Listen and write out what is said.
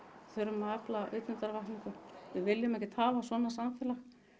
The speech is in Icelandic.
þurfum að afla vitundarvakningu við viljum ekkert hafa svona samfélag